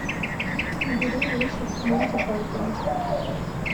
набери вечер монти пайтона